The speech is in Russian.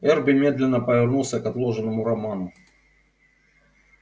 эрби медленно повернулся к отложенному роману